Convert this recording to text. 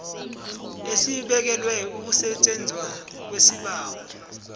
esibekelwe ukusetjenzwa kwesibawo